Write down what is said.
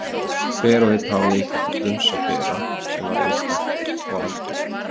Hver og einn hafði eitthvað til brunns að bera sem var einstakt og algert.